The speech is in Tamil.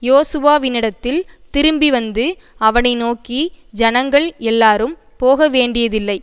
யோசுவாவினிடத்தில் திரும்பிவந்து அவனை நோக்கி ஜனங்கள் எல்லாரும் போகவேண்டியதில்லை